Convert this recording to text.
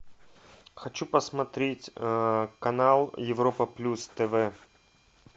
хочу посмотреть канал европа плюс тв